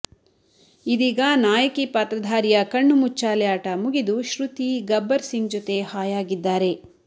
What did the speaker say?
ಇದೀಗ ನಾಯಕಿ ಪಾತ್ರಧಾರಿಯ ಕಣ್ಣುಮುಚ್ಚಾಲೆ ಆಟ ಮುಗಿದು ಶ್ರುತಿ ಗಬ್ಬರ್ ಸಿಂಗ್ ಜೊತೆ ಹಾಯಾಗಿದ್ದಾರೆ